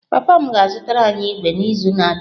Papa m ga-azụtara anyị ígwè n’izu na-abịa